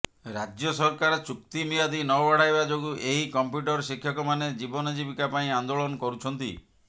ରାଜ୍ୟ ସରକାର ଚୁକ୍ତିମିଆଦି ନ ବଢ଼ାଇବା ଯୋଗୁ ଏହି କମ୍ପ୍ୟୁଟର ଶିକ୍ଷକମାନେ ଜୀବନ ଜୀବିକା ପାଇଁ ଆନ୍ଦୋଳନ କରୁଛନ୍ତି